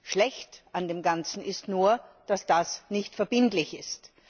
Schlecht an dem Ganzen ist nur, dass das nicht verbindlich ist.